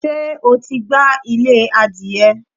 Ṣé o ti gbá ilé adìyẹ?